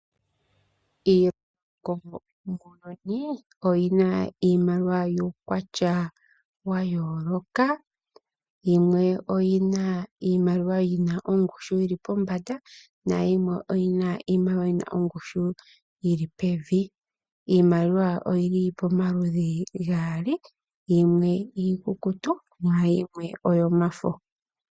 Iilongo muuyuni oyi na iimaliwa yuukwatya wa yooloka. Yimwe oyi na iimaliwa yi na ongushu yi li pombanda nayimwe oyi na iimaliwa yi na ongushu yi li pevi. Iimaliwa oyi li pamaludhi gaali. Yimwe iikukutu nayimwe oyomafo.